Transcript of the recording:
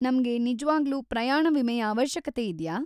ನಮ್ಗೆ ನಿಜ್ವಾಗ್ಲೂ ಪ್ರಯಾಣ ವಿಮೆಯ ಅವಶ್ಯಕತೆ ಇದ್ಯಾ?